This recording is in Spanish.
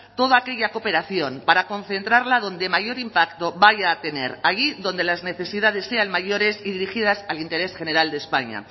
todo aquella cooperación para concentrarla donde mayor impacto vaya a tener allí donde las necesidades sean mayores y dirigidas al interés general de españa